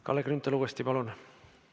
Kalle Grünthal uuesti, palun!